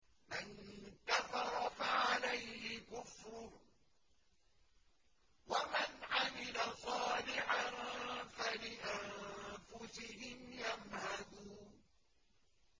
مَن كَفَرَ فَعَلَيْهِ كُفْرُهُ ۖ وَمَنْ عَمِلَ صَالِحًا فَلِأَنفُسِهِمْ يَمْهَدُونَ